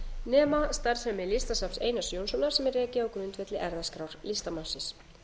nema starfsemi listasafns einars jónssonar sem er rekið á grundvelli erfðaskrár listamannsins